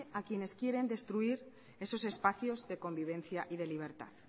a quienes quieren destruir esos espacios de convivencia y de libertad